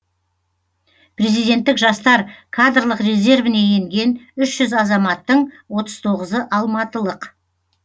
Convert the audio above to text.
президенттік жастар кадрлық резервіне енген үш жүз азаматтың отыз тоғызы алматылық